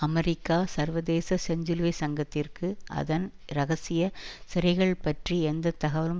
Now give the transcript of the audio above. America சர்வதேச செஞ்சிலுவை சங்கத்திற்கு அதன் இரகசிய சிறைகள் பற்றி எந்த தகவலும்